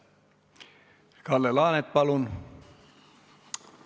Kalle Laanet, palun!